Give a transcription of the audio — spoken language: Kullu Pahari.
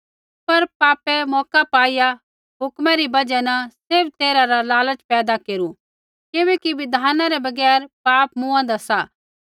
पर पापै मौका पाईआ हुक्म री बजहा न सैभ तैरहै रा लालच पैदा केरू किबैकि बिधाना रै बगैर पाप मूँआदा सा